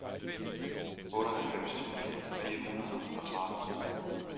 otteoghalvfems tusind fire hundrede og tretten